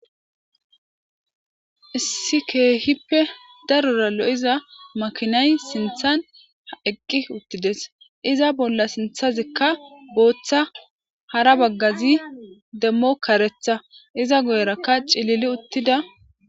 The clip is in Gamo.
issi keehippe darora lo7iza makinay sinthan h eqqi uttides iza bolla sinthazikka booththa hara baggazi demmo karetha iza goyrakka cilili uttida